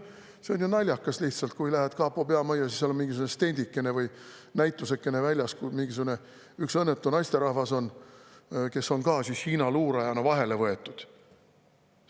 See on ju naljakas lihtsalt, kui lähed kapo peamajja, siis seal on mingisugune stendikene või näitusekene väljas ja seal on üks õnnetu naisterahvas, kes on Hiina luurajana vahele võetud.